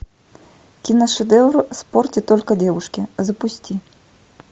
киношедевр в спорте только девушки запусти